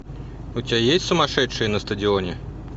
у тебя есть сумасшедшие на стадионе